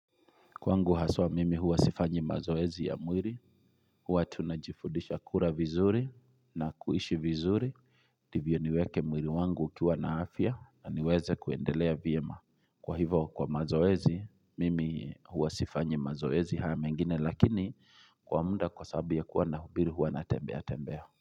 Kwangu haswa mimi huwa sifanyi mazoezi ya mwiri, huwa tunajifudisha kura vizuri na kuishi vizuri. Ndivyo niweke mwiri wangu ukiwa na afya na niweze kuendelea vyema. Kwa hivo kwa mazoezi, mimi huwa sifanyi mazoezi haya mengine lakini kwa muda kwa sababu ya kuwa nahubiri huwa na tembea tembea.